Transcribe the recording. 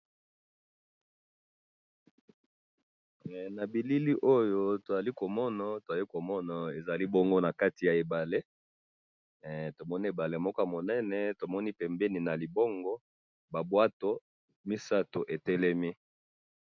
he nabilili oyo tozali komona tozali komona ezali bongo na kati ya ebale tomoni ebale ya munene tomoni pembeni na libongo na bateau misatu etelemi